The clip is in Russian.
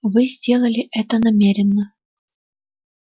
вы сделали это намеренно